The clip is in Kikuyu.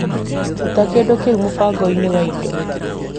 Ruta kĩndũ kĩu mũbango-inĩ wa indo.